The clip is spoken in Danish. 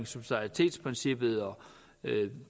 subsidaritetsprincippet og